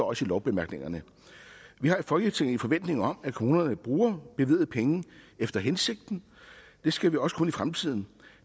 også i lovbemærkningerne vi har i folketinget en forventning om at kommunerne bruger bevilgede penge efter hensigten det skal vi også kunne fremtiden